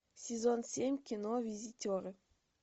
сезон семь кино визитеры